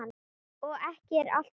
Og ekki er allt talið.